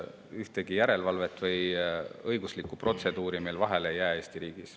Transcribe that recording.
Ühtegi järelevalve- või õiguslikku protseduuri ära ei jää Eesti riigis.